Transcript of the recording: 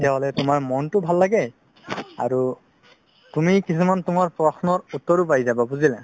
তেতিয়া তোমাৰ মনতো ভাল লাগে অৰু তুমি কেইটামান তুমাৰ প্ৰশ্নৰ উত্তৰও পাই যাবা বুজিলা